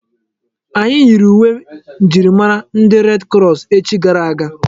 Anyị yiiri uwe njirimara ndi red krọs echi gara aga.